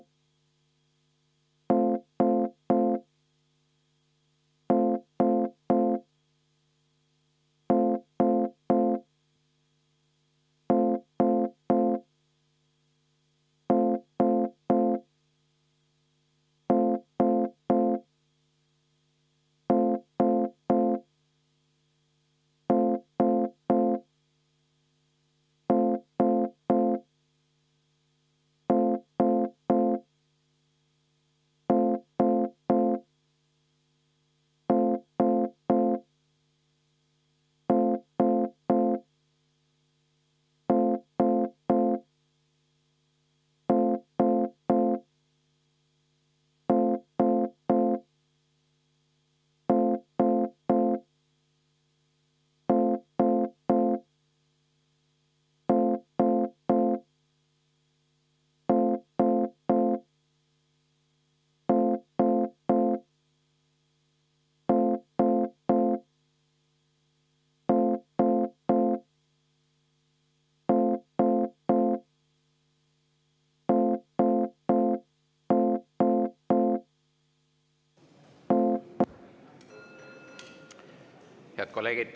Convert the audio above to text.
Head kolleegid!